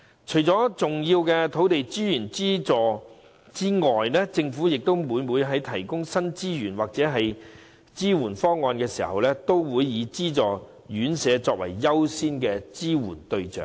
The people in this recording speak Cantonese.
除了提供重要的土地資源資助外，政府每每在提供新資源或支援方案時，也會以資助院舍為優先的支援對象。